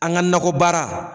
An ga nakɔbaara